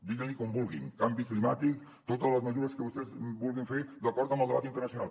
diguin li com vulguin canvi climàtic totes les mesures que vostès vulguin fer d’acord amb el debat internacional